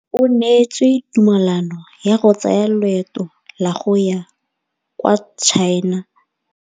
O neetswe tumalanô ya go tsaya loetô la go ya kwa China.